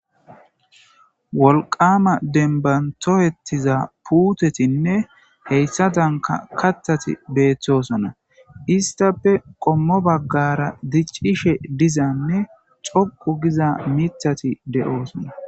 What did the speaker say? Wolqamma dembban tohetiza puutetinne hessadanka kaththati betossona issittappe qommo baggara diccishe diiza miththati de'osona